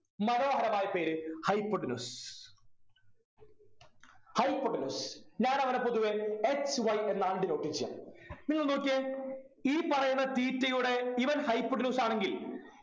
മനോഹരമായ പേര് hypotenuse hypotenuse ഞാനവനെ പൊതുവ HY എന്നാണ് denote ചെയ്യാ നിങ്ങൾ നോക്കിയേ ഈ പറയുന്ന theta യുടെ ഇവൻ hypotenuse ആണെങ്കിൽ